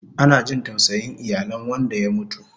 Ana jin tausayin iyalen wanda ya mutu